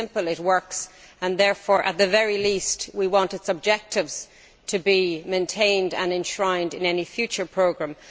It is simple, it works and therefore, at the very least, we want its objectives to be maintained and enshrined in any future programme.